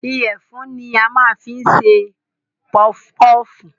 Ìyẹ̀fun ni a máa ń fi ń ṣe pọfpọf